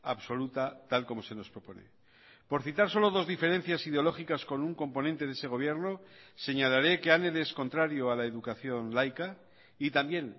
absoluta tal como se nos propone por citar solo dos diferencias ideológicas con un componente de ese gobierno señalaré que anel es contrario a la educación laica y también